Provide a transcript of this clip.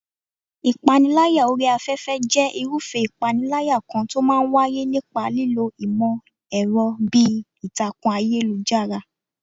Ìpániláyà orí afẹ́fẹ́ jẹ́ irúfẹ́ ìpániláyà kan tó máa ń wáyé nípa lílo ìmọ̀ ẹ̀rọ bíi ìtàkùn ayélujára.